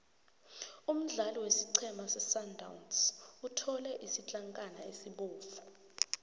umdlali wesiqhema sesundowns uthole isitlankana esibovu